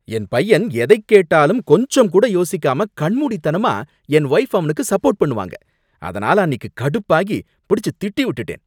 என் பையன் எதைக் கேட்டாலும் கொஞ்சம் கூட யோசிக்காம கண்மூடித்தனமா என் வைஃப் அவனுக்கு சப்போர்ட் பண்ணுவாங்க, அதனால அன்னிக்கு கடுப்பாகி பிடிச்சு திட்டி விட்டுட்டேன்.